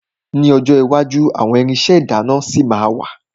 Ní ọjọ́ iwájú àwọn irinṣẹ́ ìdáná ṣì ma wà.